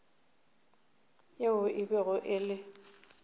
yeo e bego e le